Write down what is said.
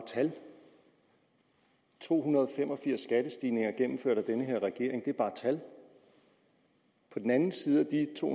tal to hundrede og fem og firs skattestigninger gennemført af den her regering er bare tal på den anden side